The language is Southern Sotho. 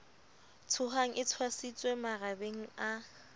tshohang e tshwasitswe marabeng a